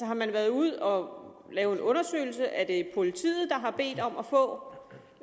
har man været ude at lave en undersøgelse er det politiet der har bedt om at få